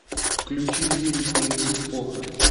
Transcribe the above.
включи лирика мс поха